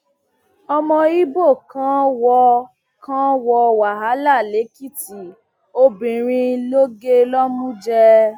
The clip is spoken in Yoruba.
ọmọ ibo kan wọ kan wọ wàhálà lèkìtì obìnrin ló gé lọmú jẹ